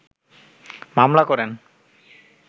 মামলা করেন